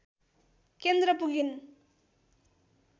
केन्द्र पुगिन्